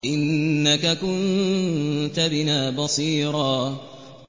إِنَّكَ كُنتَ بِنَا بَصِيرًا